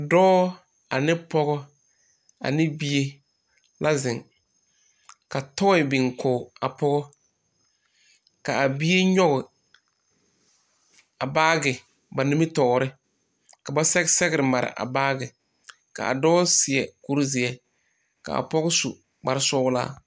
Dɔɔ ane pɔga ane bie la zeŋ ka tɔɔyi biŋ kɔge a pɔga k,a bie nyɔge a baage ba nimitɔɔre ka ba sɛge sɛgre mare a baage k,a dɔɔ seɛ kurizeɛ k,a pɔge su kparsɔglaa.